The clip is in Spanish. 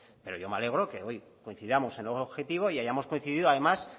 pero yo me alegro que hoy coincidamos en algo objetivo y hayamos coincidido además